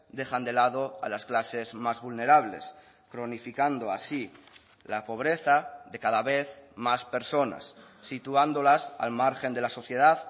dejan de lado a las clases más vulnerables cronificando así la pobreza de cada vez más personas situándolas al margen de la sociedad